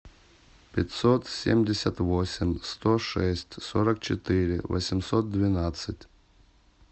пятьсот семьдесят восемь сто шесть сорок четыре восемьсот двенадцать